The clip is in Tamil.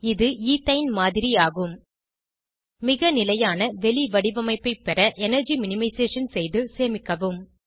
இது ஈத்தைன் மாதிரி ஆகும் மிக நிலையான வெளி வடிவமைப்பை பெற எனர்ஜி மினிமைசேஷன் செய்து சேமிக்கவும்